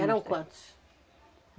Eram quantos?